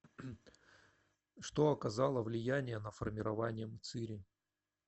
что оказало влияние на формирование мцыри